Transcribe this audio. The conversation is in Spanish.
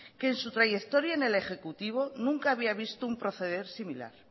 que en su trayectoria en el ejecutivo nunca había visto un proceder similar